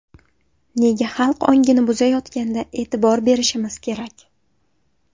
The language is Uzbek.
Nega xalq ongini buzayotganda e’tibor berishimiz kerak?